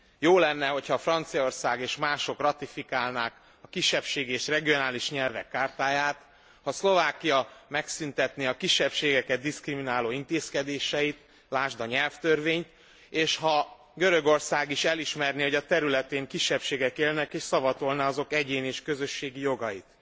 Jó lenne, hogyha Franciaország és mások ratifikálnák a Kisebbségi és regionális nyelvek chartáját, ha Szlovákia megszüntetné a kisebbségeket diszkrimináló intézkedéseit, lásd a nyelvtörvényt, és ha Görögország is elismerné, hogy a területén kisebbségek élnek és szavatolná azok egyéni és közösségi jogait.